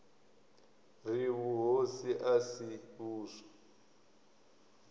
ri vhuhosi a si vhuswa